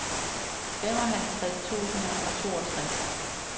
femoghalvtreds tusind og toogtres